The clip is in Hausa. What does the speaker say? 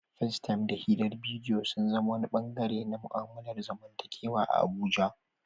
Facetime da hirar bidiyo sun zama wani ɓangare na mu'amalar zamantakewa a Abuja.